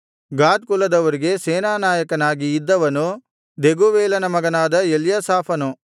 ಗಾದ್ ಕುಲದವರಿಗೆ ಸೇನಾನಾಯಕನಾಗಿ ಇದ್ದವನು ದೆಗೂವೇಲನ ಮಗನಾದ ಎಲ್ಯಾಸಾಫನು